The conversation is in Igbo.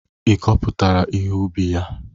Ịkọpụtara ihe ubi ya?